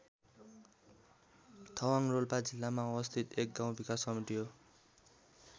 थवाङ रोल्पा जिल्लामा अवस्थित एक गाउँ विकास समिति हो।